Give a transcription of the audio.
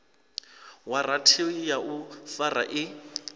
waranthi ya u fara i